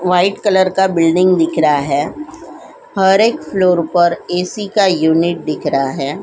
White colour का building दिख रहा है हर एक फ्लोर पर ए_सी का यूनिट दिख रहा है।